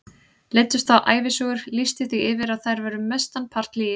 Leiddust þá ævisögur, lýsti því yfir að þær væru mestan part lygi.